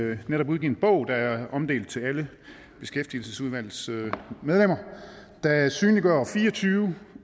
vi netop udgivet en bog der er omdelt til alle beskæftigelsesudvalgets medlemmer der synliggør fire og tyve